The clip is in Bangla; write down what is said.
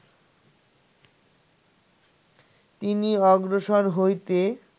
তিনি অগ্রসর হইতে